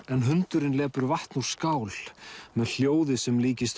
en hundurinn lepur vatn úr skál með hljóði sem líkist